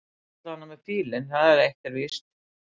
Hann mætir allavega með fílinn það er eitt sem víst er.